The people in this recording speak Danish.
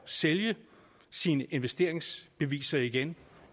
sælge sine investeringsbeviser igen